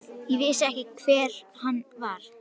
Ég vissi ekki hver hann var.